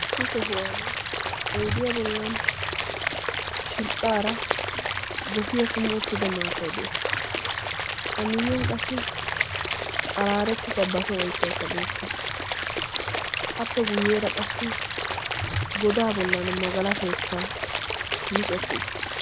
Issi sohuwaani oyddiyaa ballon shidhdhara gossiyaa kummi uttidda maattaay dees. a miyaan qassi qaraarettidda baso oyttayikks beettes, appe guyyera qassi goddaa bollan magalashshoykka miccetti uttis.